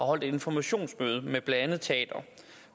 holdt informationsmøde med blandt andet teatre